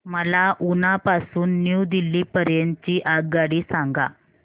मला उना पासून न्यू दिल्ली पर्यंत ची आगगाडी सांगा